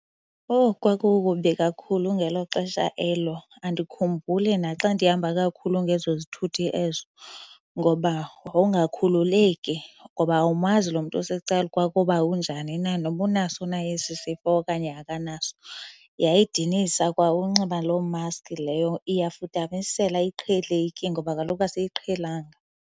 Owu kwakukubi kakhulu ngelo xesha elo. Andikhumbuli naxa ndihamba kakhulu ngezo zithuthi ezo ngoba wawungakhululeki, ngoba awumazi lo mntu osecal' kwakho uba unjani na, noba unaso na esi sifo okanye akanaso. Yayidinisa kwa unxiba loo mask leyo, iyafuthamisela ayiqheleki ngoba kaloku asiyiqhelanga.